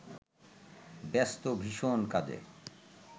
ব্যস্ত ভীষন কাজে